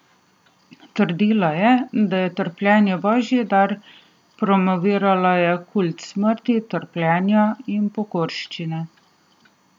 Trdila je, da je trpljenje božji dar, promovirala je kult smrti, trpljenja in pokorščine.